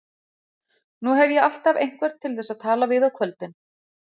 Nú hef ég alltaf einhvern til þess að tala við á kvöldin.